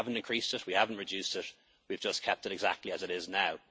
now. We haven't increased it, we haven't reduced it, but we've just kept it exactly as it is